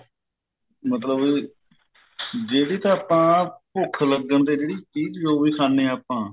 ਮਤਲਬ ਵੀ ਜਿਹੜੀ ਤਾਂ ਆਪਾਂ ਭੁੱਖ ਲੱਗਣ ਤੇ ਜਿਹੜੀ ਵੀ ਚੀਜ ਖਾਂਦੇ ਆ ਆਪਾਂ